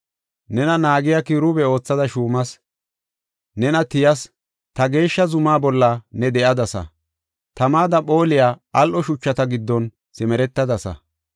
Nena naagiya kiruube oothada shuumas; nena tiyas. Ta geeshsha zumaa bolla ne de7adasa; tamada phooliya al7o shuchata giddon simeretadasa.